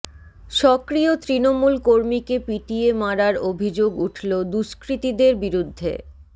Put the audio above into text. সক্রিয় তৃণমূল কর্মীকে পিটিয়ে মারার অভিযোগ উঠল দুষ্কৃতীদের বিরুদ্ধে